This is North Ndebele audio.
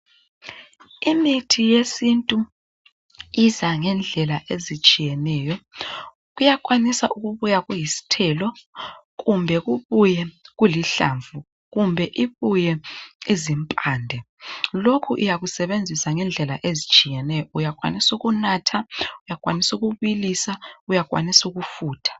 Imithi yesintu iza ngendlela ezitshiyeneyo. Kuyakwanisa ukubuya kuyisithelo, amahlamvu kumbe impande. Lokhu uyakwanisa akukusebenzisa ngendlela ezitshiyeneyo ukunatha ,ukubilisa kumbe ukufutha.